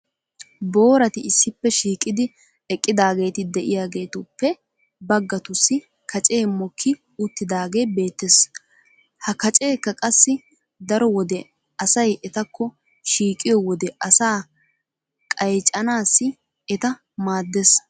booratti issippe shiiqidi eqqidaageeti diyaagetuppe bagatussi kacee mokki utaagee beetees. ha kaceekka qassi daro wode asay etakko shiiqiyo wode asaa qayccanaassi eta maadees.